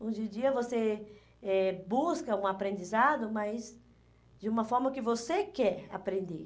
Hoje em dia você eh busca um aprendizado, mas de uma forma que você quer aprender.